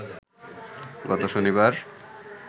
গত শনিবার